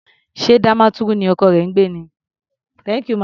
Ṣé Damaturu ni ọkọ rẹ ń gbé ni?